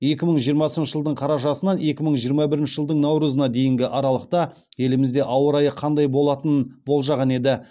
екі мың жиырмасыншы жылдың қарашасынан екі мың жиырма бірінші жылдың наурызына дейінгі аралықта елімізде ауа райы қандай болатынын болжаған еді